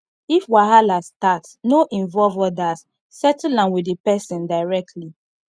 if wahala start no involve others settle am with the person directly